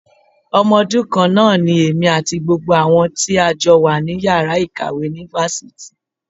Ọmọ ọdún kan náà ni èmi àti gbogbo àwọn tí a jọ wà ní Ìyàrá ìkàwé ní Fáfitì.